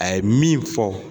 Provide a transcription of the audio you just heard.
A ye min fɔ